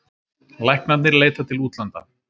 Læknarnir leita til útlanda